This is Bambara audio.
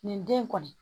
Nin den kɔni